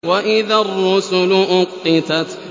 وَإِذَا الرُّسُلُ أُقِّتَتْ